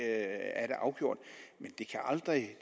er det afgjort men det kan aldrig